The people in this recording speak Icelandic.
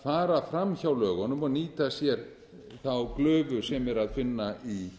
að fara fram hjá lögunum og nýta sér glufuna sem er að finna í